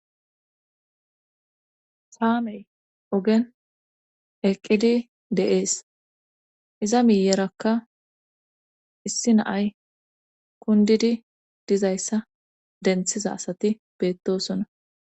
Kaamey ogen eqqidi de'ees iza miyerakka issi naay kundidi dizayssa denththiza asati beettosona